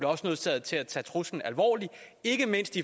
også nødsaget til at tage truslen alvorligt ikke mindst